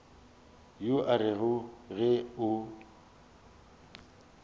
yo o rego ge o